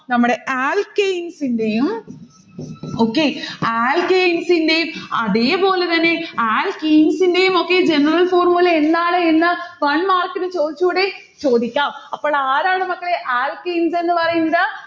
നമ്മടെ alkynes ന്റെയും okay? alkynes ന്റെ അതേപോലെതന്നെ alkenes ന്റെയുമൊക്കെ general formula എന്താണ് എന്ന് one mark നു ചൊടിച്ചൂടേ? ചോദിക്കാം. അപ്പോളാരാണ് മക്കളെ alkynes എന്ന് പറയുന്നത്?